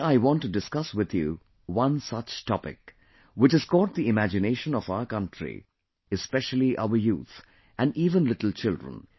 Today I want to discuss with you one such topic, which has caught the imagination of our country, especially our youth and even little children